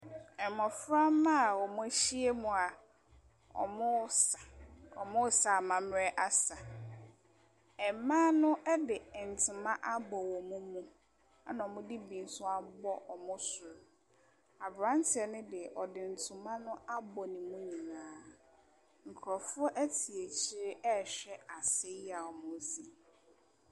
Ɛmɔfra mma a ɔm'ahyiam ɔmoo sa. Ɔmoo sa amammerɛ asa. Ɛmaa no ɛde ɛntema abɔ ɔmo mu ana ɔmo de bi nso abɔ ɔmo sro. Aberanteɛ ne deɛ ɔde ntoma abɔ ne mu nyinaa. Nkorɔfoɔ ɛte akyire ɛɛhwɛ asa yi a ɔmoo sa yi.